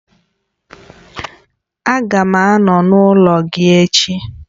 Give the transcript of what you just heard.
Aga m anọ n'ụlọ gị ech